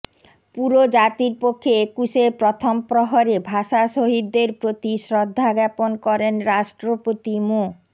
পুরো জাতির পক্ষে একুশের প্রথম প্রহরে ভাষা শহীদদের প্রতি শ্রদ্ধা জ্ঞাপন করেন রাষ্ট্রপতি মো